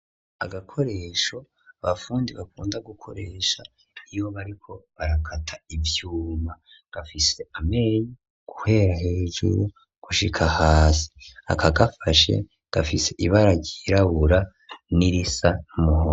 Agakoresho abafundi bakunda gukoresha iyo bariko barakata ivyuma, gafise amenyo guhera hejuru gushika hasi. Akagafashe gafise ibara ryirabura n'irisa n'umuhondo.